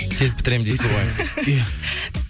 тез бітіремін дейсіз ғой иә